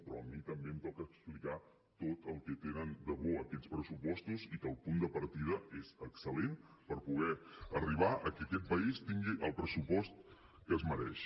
però a mi també em toca explicar tot el que tenen de bo aquests pressupostos i que el punt de partida és excel·lent per poder arribar a que aquest país tingui el pressupost que es mereix